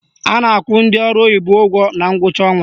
A na-akwụ ndị ọrụ oyibo ụgwọ na ngwụcha ọnwa